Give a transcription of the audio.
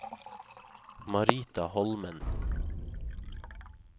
Marita Holmen